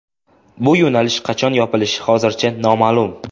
Bu yo‘nalish qachon yopilishi hozircha noma’lum.